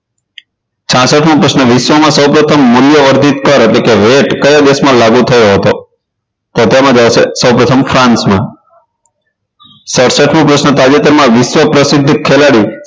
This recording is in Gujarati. છાસઠ મો પ્રશ્ન વિશ્વમાં સૌ પ્રથમ મૂલ્યવર્ધિત કર એટલે કે વેટ કયા દેશમાં લાગુ થયો હતો તો તેમાં આવશે સૌપ્રથમ ફ્રાન્સમાં સડસઠ મો પ્રશ્ન તાજેતરમાં વિશ્વ પ્રસિદ્ધ ખેલાડી